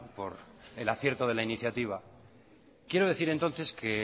por el acierto de la iniciativa quiero decir entonces que